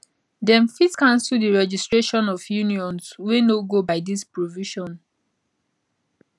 dem fit cancel di registration of unions wey no go by dis provision